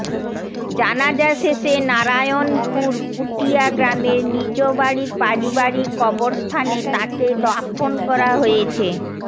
জানাজা শেষে নারায়ণপুর পুটিয়া গ্রামের নিজ বাড়ির পারিবারিক কবরস্থানে তাঁকে দাফন করা হয়েছে